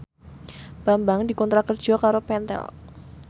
Bambang dikontrak kerja karo Pentel